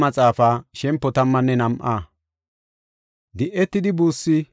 Godaa qaalay taako haysada yaagidi yis;